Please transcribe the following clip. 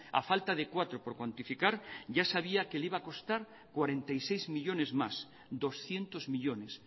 a falta de cuatro por cuantificar ya sabía que le iba a costar cuarenta y seis millónes más doscientos millónes